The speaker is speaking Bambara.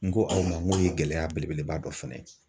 N ko aw ma ngo ye gɛlɛya belebeleba dɔ fɛnɛ ye.